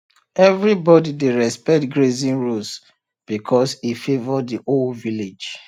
everybody dey respect grazing rules because e favour the whole village